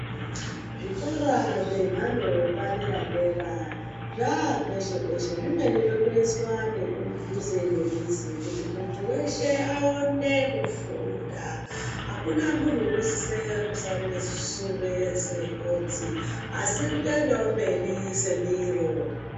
Zvikora zvemhando yepadera-dera zvapeshe-peshe, zvimweni zvotoiswa kudhuze nemizi kuti muntu veshe aone kufunda. Hakuna muntu unosise kusarire sure segotsi asi kutoendavo mberi semiro.